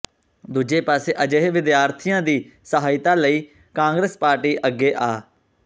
ਦੂਜੇ ਪਾਸੇ ਅਜਿਹੇ ਵਿਦਿਆਰਥੀਆਂ ਦੀ ਸਹਾਇਤਾ ਲਈ ਕਾਂਗਰਸ ਪਾਰਟੀ ਅੱਗੇ ਆ